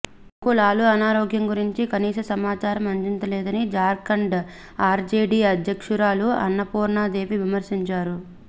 తమకు లాలూ అనారోగ్యం గురించి కనీస సమాచారం అందించలేదని జార్ఖండ్ ఆర్జేడీ అధ్యక్షురాలు అన్నపూర్ణా దేవి విమర్శించారు